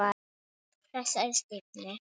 Þessari stífni.